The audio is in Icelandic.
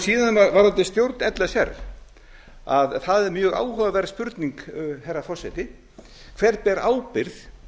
síðan varðandi stjórn l s r að það er mjög áhugaverð spurning herra forseti hver ber ábyrgð